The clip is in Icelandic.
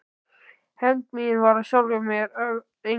Hefnd mín varð af sjálfu sér að engu.